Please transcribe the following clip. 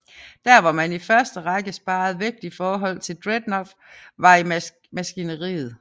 Der hvor man i første række sparede vægt i forhold til Dreadnought var i maskineriet